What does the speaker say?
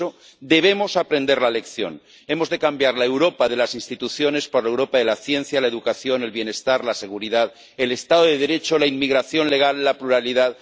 Por eso, debemos aprender la lección hemos de cambiar la Europa de las instituciones por la Europa de la ciencia, la educación, el bienestar, la seguridad, el Estado de Derecho, la inmigración legal, la pluralidad...